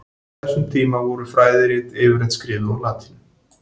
Á þessum tíma voru fræðirit yfirleitt skrifuð á latínu.